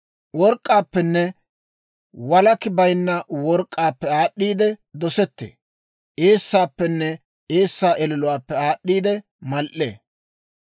Work'k'aappenne walakki bayinna work'k'aappe aad'd'iide dosettee; eessaappenne eessaa ililuwaappe aad'd'i mal"ee.